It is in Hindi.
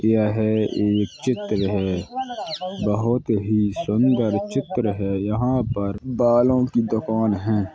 यह एक चित्र है | बोहत ही सुंदर चित्र है | यहां पर बालों की दुकान है |